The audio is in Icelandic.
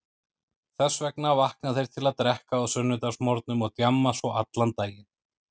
Þess vegna vakna þeir til að drekka á sunnudagsmorgnum og djamma svo allan daginn.